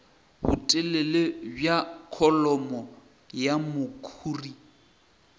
botelele bja kholomo ya mekhuri